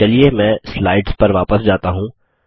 चलिए मैं स्लाइड्स पर वापस जाता हूँ